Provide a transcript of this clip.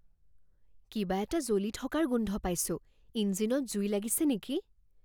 কিবা এটা জ্বলি থকাৰ গোন্ধ পাইছোঁ। ইঞ্জিনত জুই লাগিছে নেকি?